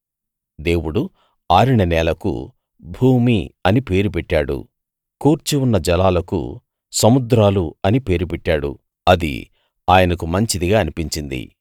దేవుడు ఆరిన నేలకు భూమి అని పేరు పెట్టాడు కూర్చి ఉన్న జలాలకు సముద్రాలు అని పేరు పెట్టాడు అది ఆయనకు మంచిదిగా అనిపించింది